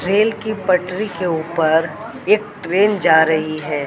Rail की पटरी के ऊपर एक ट्रेन जा रही है।